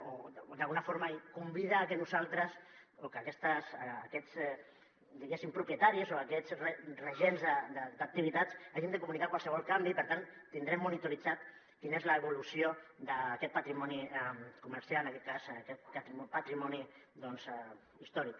o d’alguna forma convida a que nosaltres o que aquests diguéssim propietaris o aquests regents d’activitats hagin de comunicar qualsevol canvi i per tant tindrem monitorada quina és l’evolució d’aquest patrimoni comercial en aquest cas aquest patrimoni històric